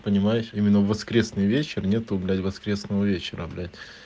понимаешь именно в воскресный вечер нету блять воскресного вечера блять